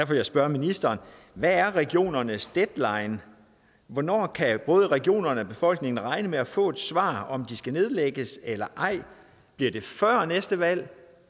vil jeg spørge ministeren hvad er regionernes deadline hvornår kan både regionerne og befolkningen regne med at få et svar på om de skal nedlægges eller ej bliver det før næste valg